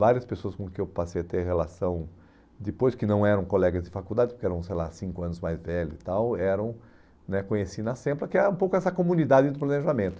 Várias pessoas com quem eu passei a ter relação, depois que não eram colegas de faculdade, porque eram, sei lá, cinco anos mais velhos e tal, eram... né conheci na SEMPLA, que é um pouco essa comunidade de planejamento.